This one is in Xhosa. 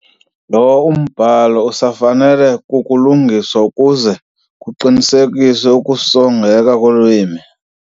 Lo mbhalo usafanele ukulungiswa ukuze kuqinisekiswe ukusongeka kolwimi.